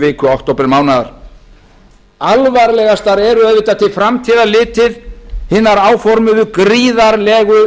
viku októbermánaðar alvarlegastar eru til framtíðar litið hinar gríðarlegu lántökur sem áformaðar